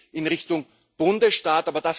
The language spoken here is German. Das geht in Richtung Bundesstaat.